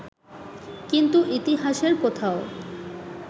কিন্তু ইতিহাসের কোথাও